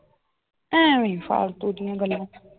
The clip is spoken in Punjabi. ਐਵੇਂ ਈ ਫਾਲਤੂ ਦੀਆਂ ਗੱਲਾਂ l